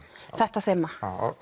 þetta þema